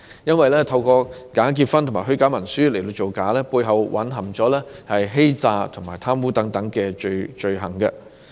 因為透過假結婚和虛假文書造假，背後已蘊含欺詐和貪污等罪行。